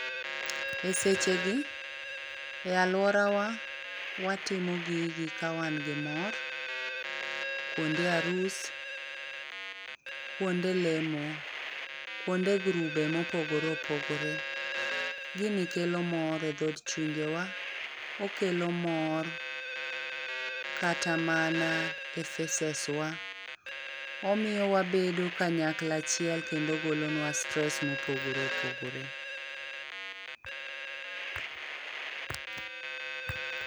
Esechegi e aluorawa watimo gigi kawan gi mor kuonde arus, kuonde lemo, kuonde grube mopogore opogore. Gini kelo mor e dhood chunje wa, okelo mor kata mana e faces wa . Omiyo wabedo kanyakla achiel kendo ogolonwa stress mopogore opogore